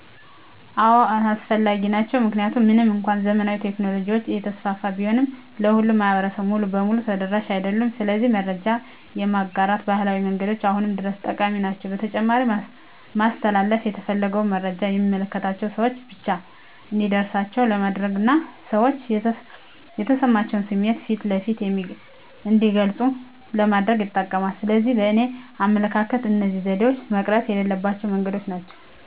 አዎ አስፈላጊ ናቸው። ምክንያቱም ምንም እንኳን ዘመናዊ ቴክኖሎጂዎች እየተስፋፉ ቢሆንም ለሁሉም ማህበረሰብ ሙሉ በሙሉ ተደራሽ አይደሉም። ስለዚህ መረጃ የማጋራት ባህላዊ መንገዶች አሁንም ድረስ ጠቃሚ ናቸው። በተጨማሪም ማስተላለፍ የተፈለገውን መረጃ የሚመለከታቸው ሰወች ብቻ እንዲደርሳቸው ለማድረግና ሰዎች የተሰማቸውን ስሜት ፊት ለፊት እንዲገልጹ ለማድረግ ይጠቅማል። ስለዚህ በእኔ አመለካከት እነዚህ ዘዴዎች መቅረት የሌለባቸው መንገዶች ናቸው።